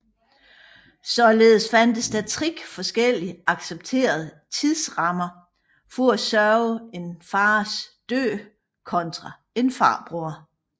Således fandtes der tre forskellige accepterede tidsrammer for at sørge en faders død kontra en farbror